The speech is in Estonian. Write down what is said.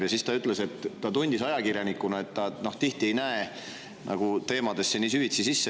Ja siis ta ütles, et ta tundis ajakirjanikuna, et ta tihti ei näe teemadesse süvitsi sisse.